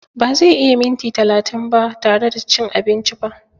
Ba zai iya yin minti talatin ba tare da cin abinci ba.